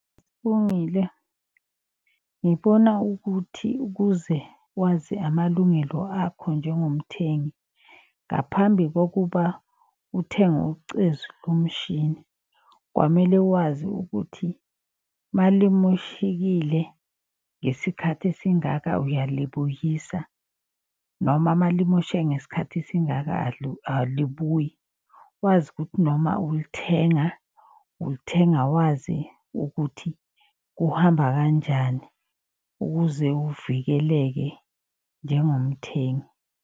Ngibona ukuthi ukuze wazi amalungelo akho njengomthengi. Ngaphambi kokuba uthenge ucezu lomshini kwamele wazi ukuthi malimoshekile ngesikhathi esingaka uyalibuyisa. Noma malimosheke ngesikhathi esingaka alibuyi wazi ukuthi noma ulithenga. Ulithenga wazi ukuthi kuhamba kanjani ukuze uvikeleke njengomthengi.